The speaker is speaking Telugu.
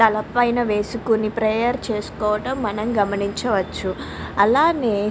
తల పైన వేసుకొని ప్రేయర్ చేసుకోవటం మనం గమనించుకోవచ్చు అలాగే --